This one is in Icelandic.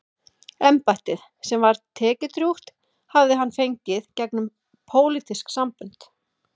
Embættið, sem var tekjudrjúgt, hafði hann fengið gegnum pólitísk sambönd.